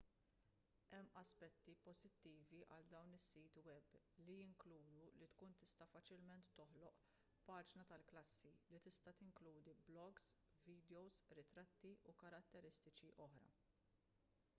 hemm aspetti pożittivi għal dawn is-siti web li jinkludu li tkun tista' faċilment toħloq paġna tal-klassi li tista' tinkludi blogs vidjows ritratti u karatteristiċi oħra